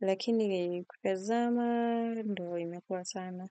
Lakini kutazama, ndo imekua sana.